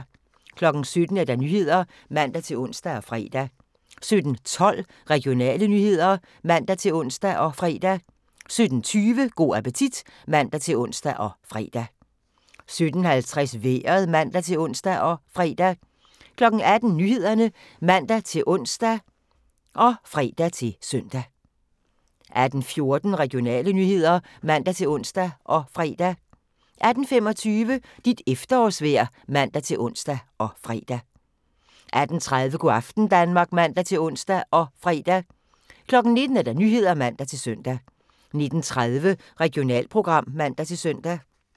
17:00: Nyhederne (man-ons og fre) 17:12: Regionale nyheder (man-ons og fre) 17:20: Go' appetit (man-ons og fre) 17:50: Vejret (man-ons og fre) 18:00: Nyhederne (man-ons og fre-søn) 18:14: Regionale nyheder (man-ons og fre) 18:25: Dit efterårsvejr (man-ons og fre) 18:30: Go' aften Danmark (man-ons og fre) 19:00: Nyhederne (man-søn) 19:30: Regionalprogram (man-søn)